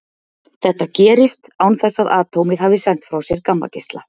Þetta gerist án þess að atómið hafi sent frá sér gammageisla.